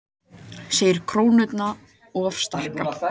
Segir krónuna of sterka